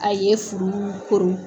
A ye furu kuru!